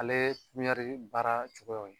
Ale piɲari baara cogoyaw ye.